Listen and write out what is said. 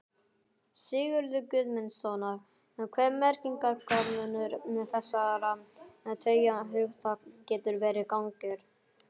Sigurðar Guðmundssonar hve merkingarmunur þessara tveggja hugtaka getur verið gagnger.